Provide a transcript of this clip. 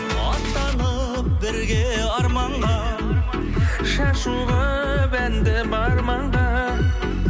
аттанып бірге арманға шашу қылып әнді бар маңға